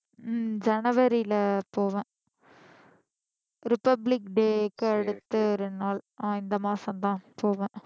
உம் ஜனவரில போவேன் ரிபப்லிக் டேக்கு அடுத்த ரெண்டு நாள் ஆஹ் இந்த மாசம் தான் போவேன்